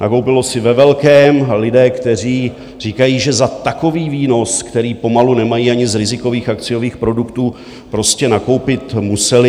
Nakoupili si ve velkém, lidé, kteří říkají, že za takový výnos, který pomalu nemají ani z rizikových akciových produktů, prostě nakoupit museli.